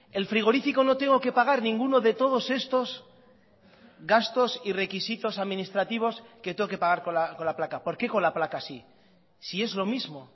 el frigorífico no tengo que pagar ninguno de todos estos gastos y requisitos administrativos que tengo que pagar con la placa por qué con la placa sí si es lo mismo